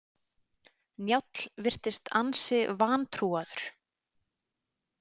Njáll virtist ansi vantrúaður.